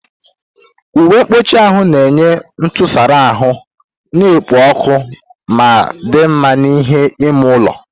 Uwe mkpuchi na-enye ntụsara ahụ na-ekpo ọkụ ma dị mma n'ime ime ụlọ.